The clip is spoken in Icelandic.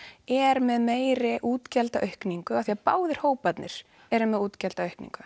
er með meiri útgjaldaaukningu því báðir hóparnir eru með útgjaldaaukningu